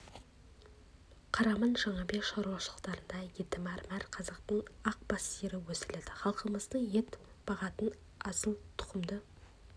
қараман-к жаңабек шаруашылықтарында еті мәрмәр қазақтың ақ бас сиыры өсіріледі халқымыздың ет бағытындағы асыл тұқымды